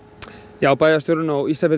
já bæjarstjórinn á Ísafirði